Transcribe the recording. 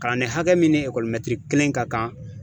Kalanden hakɛ min ni ekɔli kelen ka kan.